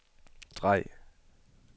drej